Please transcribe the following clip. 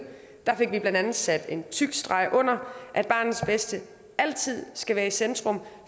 fik vi blandt andet sat en tyk streg under at barnets bedste altid skal være i centrum